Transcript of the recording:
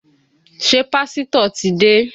Ṣé pásítọ̀ ti dé?